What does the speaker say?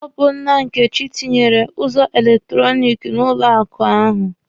Ọ bụ nna Nkechi tinyere ụzọ elektọrọniki n'ụlọ akụ ahụ.